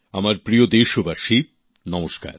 আমার প্রিয় দেশবাসী নমস্কার